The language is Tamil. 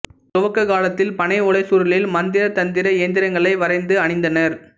துவக்க காலத்தில் பனை ஓலைச் சுருளில் மந்திர தந்திர எந்திரங்களை வரைந்து அணிந்தனர்